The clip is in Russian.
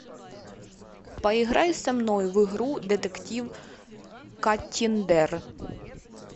поиграй со мной в игру детектив каттиндер